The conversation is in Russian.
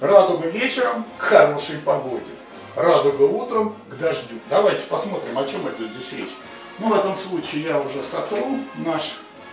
радуга вечером к хорошей погоде радуга утром к дождю давайте посмотрим о чем это здесь речь ну в этом случае я уже сотру наш